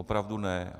Opravdu ne.